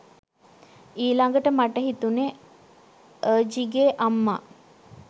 ඊලඟට මට හිතුණේ අර්ජිගේ අම්මා